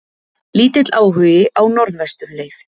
Lítill áhugi á Norðvesturleið